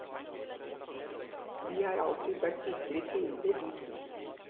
De har alltid vært bitre fiender de to.